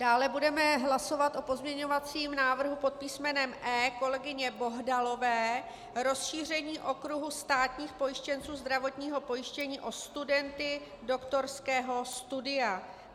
Dále budeme hlasovat o pozměňovacím návrhu pod písmenem E kolegyně Bohdalové - rozšíření okruhu státních pojištěnců zdravotního pojištění o studenty doktorského studia.